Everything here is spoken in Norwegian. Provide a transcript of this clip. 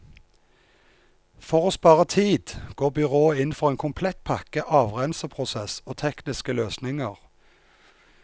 For å spare tid går byrådet inn for en komplett pakke avrenseprosess og tekniske løsninger.